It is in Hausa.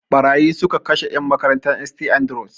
Ɓarayi su ka kashe en makarantan St Andrews